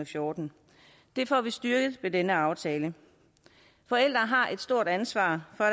fjorten det får vi styrket ved denne aftale forældre har et stort ansvar for